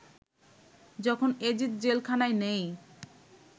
যখন এজিদ জেলখানায় নেয়